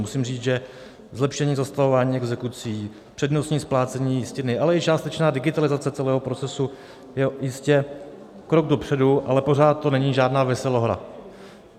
Musím říci, že zlepšení zastavování exekucí, přednostní splácení jistiny, ale i částečná digitalizace celého procesu je jistě krok dopředu, ale pořád to není žádná veselohra.